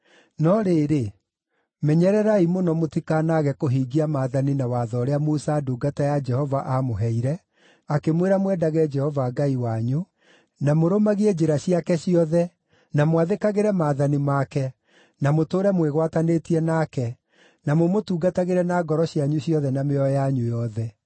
No rĩrĩ, menyerera mũno mũtikanaage kũhingia maathani na watho ũrĩa Musa ndungata ya Jehova aamũheire; akĩmwĩra mwendage Jehova Ngai wanyu, na mũrũmagie njĩra ciake ciothe, na mwathĩkagĩre maathani make, na mũtũũre mwĩgwatanĩtie nake, na mũmũtungatagĩre na ngoro cianyu ciothe na mĩoyo yanyu yothe.”